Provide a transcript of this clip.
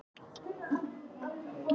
Það myndi auðvelda fjármögnun verksmiðjunnar